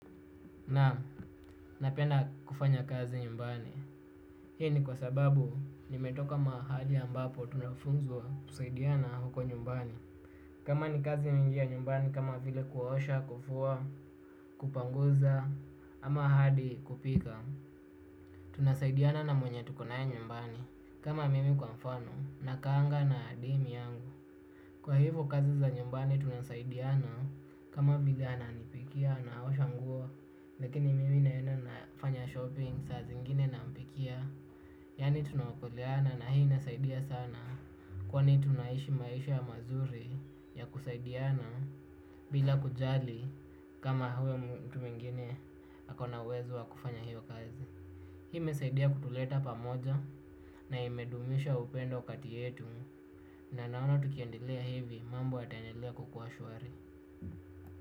Na, napenda kufanya kazi nyumbani. Hii ni kwa sababu nimetoka mahali ambapo tunafunzwa kusaidiana huko nyumbani. Kama ni kazi mingi ya nyumbani kama vile kuosha, kufua, kupanguza, ama hadi kupika. Tunasaidiana na mwenye tuko na yeye nyumbani. Kama mimi kwa mfano, nakaanga na demi yangu. Kwa hivyo kazi za nyumbani tunasaidiana kama bigana ananipikia na anaosha nguo. Lakini mimi naenda nafanya shopping saa zingine nampikia. Yani tunaokoleana na hii nasaidia sana. Kwa ni tunaishi maisha ya mazuri ya kusaidiana. Bila kujali kama huwe mtu mwingine ako na uwezo wa kufanya hivyo kazi. Hii imesaidia kutuleta pamoja na imedumisha upendo kati yetu. Na naona tukiendelea hivi mambo yataendelea kukuwa shwari.